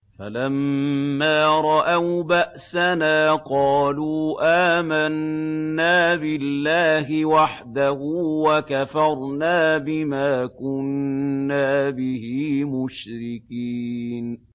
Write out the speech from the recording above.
فَلَمَّا رَأَوْا بَأْسَنَا قَالُوا آمَنَّا بِاللَّهِ وَحْدَهُ وَكَفَرْنَا بِمَا كُنَّا بِهِ مُشْرِكِينَ